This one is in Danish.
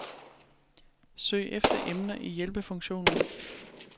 Søg efter emner i hjælpefunktionen.